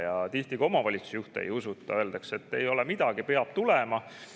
Ja tihti ka omavalitsusjuhte ei usuta, öeldakse, et ei ole midagi, peab tulema.